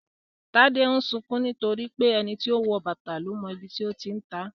Tade ń sunkún nítorí pé "ẹni tó wọ bàtà ló mọ ibi tó ti ń ta á "